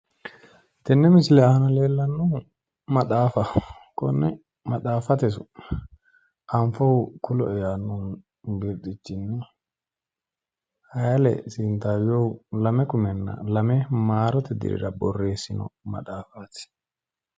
Tenne misile aana leellannohu maxaafaho. Konne maxaffate su'ma anfohu kuloe yaanno birxichinni haile sintaayyehu 2002 MD. Borreessino maxaafaati.